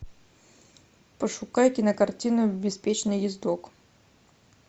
пошукай кинокартину беспечный ездок